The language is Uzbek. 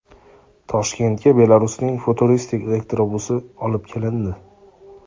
Toshkentga Belarusning futuristik elektrobusi olib kelindi .